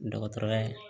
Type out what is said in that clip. Dɔgɔtɔrɔya